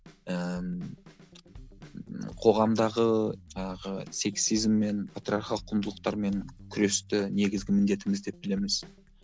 ііі қоғамдағы жаңағы сексизм мен патриархал құндылықтармен күресті негізгі міндетіміз деп білеміз